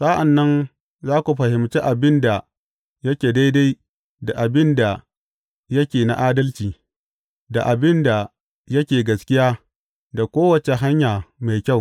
Sa’an nan za ku fahimci abin da yake daidai da abin da yake na adalci da abin da yake gaskiya, da kowace hanya mai kyau.